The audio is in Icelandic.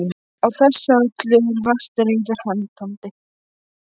Á þessu öllu eru vart reiður hendandi.